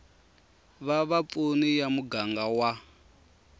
va vapfuni ya muganga wa